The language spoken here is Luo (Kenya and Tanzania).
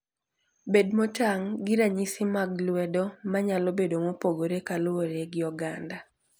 Bed motang' gi ranyisi mag lwedo, ma nyalo bedo mopogore kaluwore gi oganda.